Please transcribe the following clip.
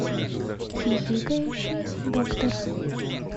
хихикающий доктор